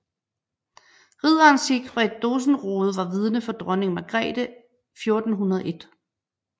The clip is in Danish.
Ridderen Sigfred Dosenrode var vidne for dronning Margrethe 1401